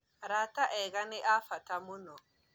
Arata ega nĩ a abata mũno